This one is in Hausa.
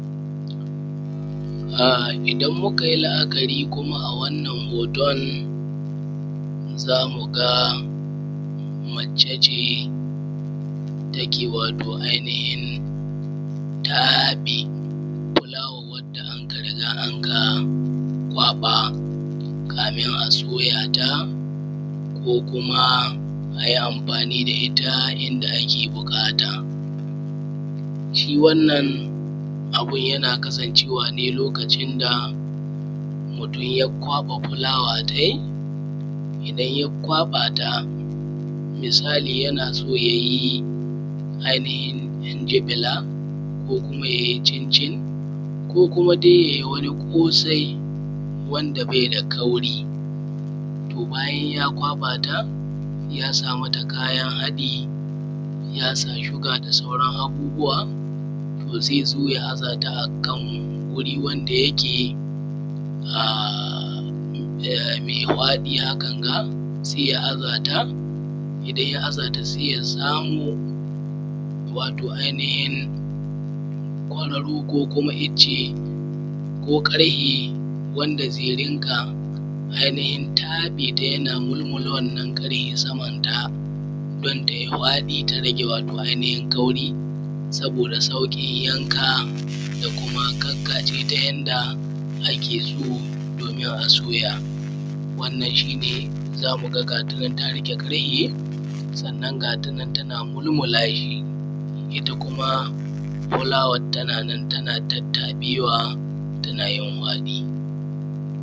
um idan mukayi la’akari kuma a wannan hoton zamu ga mace ce take um taɓe fulawa wanda anka riga anka kwaɓa kamin a soyata ko kuma ayi amfani da itta inda ake buƙata. Shi wannan abun yana kasancewa ne lokacin da mutun ya kwaɓa fulawa tai idan ya kwaɓata misali yana son yayi um dubilan ko kuma yai cincin ko kuma dai yayi wani kosai wandabaida kauri, to bayan ya kwaɓata yasa mata kayan haɗi yasa suga da sauran abubuwa. to zaizo ya azata akan wuri wanda yake um mai hwaɗi hakan ga sai ya azata idan ya azata sai ya samu um kororo ko kuma icce ko ƙarhe wanda zai rinƙa ai um taɓeta yana mulmula wannan ƙarhe saman ta dan tai faɗita rage um kauri dan tai sauƙin yanka da kuma kan ka’ajeta uyanda ake so domin a soya, wannan shine zakuga ga tanan ta rage karhe sanna ga tanan tana mulmula shi itta kuma fulawan tana nan tana tattaɓewa tana yin hwadi.